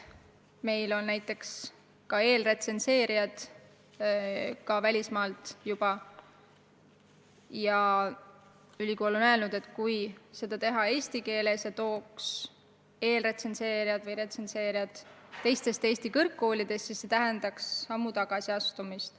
Meil on näiteks ka eelretsenseerijad välismaalt ja ülikool on öelnud, et kui seda teha eesti keeles, kui valida eelretsenseerijad või retsenseerijad teistest Eesti kõrgkoolidest, siis see tähendaks sammu tagasi astumist.